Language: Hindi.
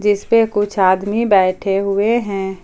इस पर कुछ आदमी बैठे हुए हैं।